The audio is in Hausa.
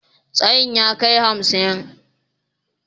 Tsayin ya kai hamsin